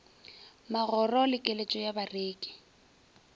magoro le keletšo ya bareki